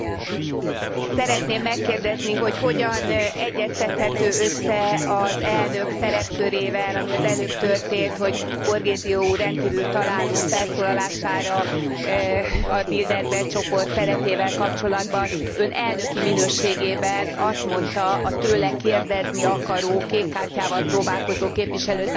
Szeretném megkérdezni, hogy hogyan egyeztethető össze az elnök szerepkörével, ami az előbb történt, hogy Borghezio úr rendkívül találó felszólalására a Bilderberg csoport szerepével kapcsolatban Ön elnöki minőségében azt mondta a tőle kérdezni akaró, kék kártyával próbálkozó képviselőtársunknak, hogy